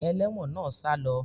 Ẹlẹ́wọ̀n náà salọ